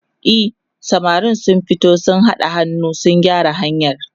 e samarin sun fito sun haɗa hannu sun gyara hanyar